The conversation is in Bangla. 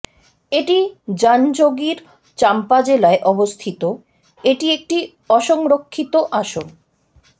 এটি জাঞ্জগির চাম্পা জেলায় অবস্থিত এটি একটি অসংরক্ষিত আসন